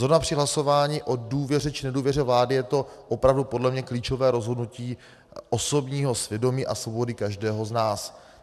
Zrovna při hlasování o důvěře či nedůvěře vládě je to opravdu podle mě klíčové rozhodnutí osobního svědomí a svobody každého z nás.